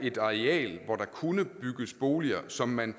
et areal hvor der kunne bygges boliger som man